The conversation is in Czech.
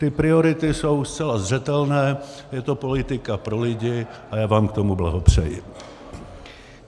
Ty priority jsou zcela zřetelné: je to politika pro lidi a já vám k tomu blahopřeji.